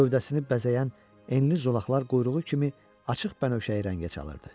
Gövzəsini bəzəyən enli zolaqlar quyruğu kimi açıq bənövşəyi rəngə çalırdı.